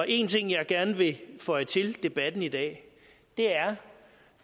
en ting jeg gerne vil føje til debatten i dag er